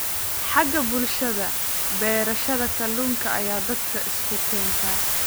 Xagga bulshada, beerashada kalluunka ayaa dadka isu keenta,